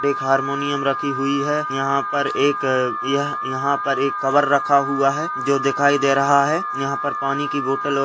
एक हारमोनियम रखी हुई है यहाँ पर एक यहाँ पर एक कवर रखा हुआ है जो दिखाई दे रहा है यहाँ पर पानी की बोटल और --